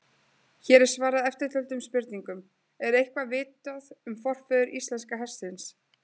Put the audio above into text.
Baldrún, læstu útidyrunum.